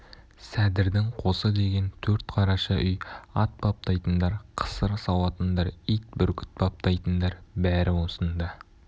сәдірдің қосы деген төрт қараша үй ат баптайтындар қысыр сауатындар ит бүркіт баптайтындар бәрі осында